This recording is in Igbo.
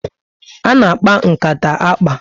Ana akpa nkata akpa